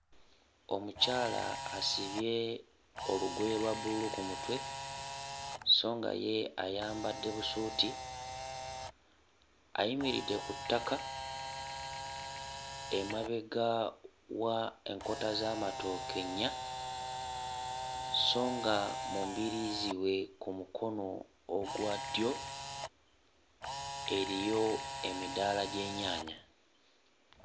Omukyala asibye olugoye lwa bbululu ku mutwe so nga ye ayambadde busuuti ayimiridde ku ttaka emabega wa enkota z'amatooke nnya so nga mu mbiriizi we ku mukono ogwa ddyo eriyo emidaala gy'ennyaanya.